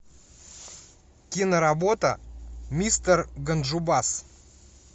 киноработа мистер ганджубас